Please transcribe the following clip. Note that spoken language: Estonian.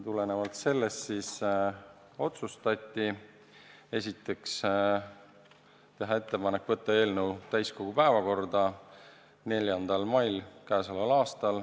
Tulenevalt sellest otsustati esiteks teha ettepanek võtta eelnõu täiskogu päevakorda 4. maiks.